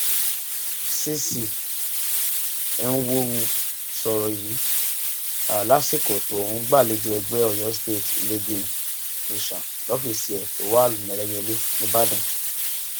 cc enwonwu sọrọ yìí lásìkò tó ń gbàlejò ẹgbẹ oyo state leagueing nation lọfíìsì ẹ tó wà lẹlẹyẹlẹ nìbàdàn